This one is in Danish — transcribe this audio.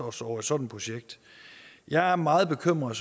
os over et sådan projekt jeg er meget bekymret